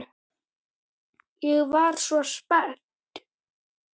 Ég var svo spennt.